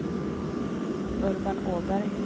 Urban Åberg